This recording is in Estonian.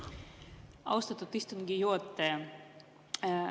Austatud istungi juhataja!